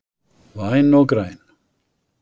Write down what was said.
Væn og græn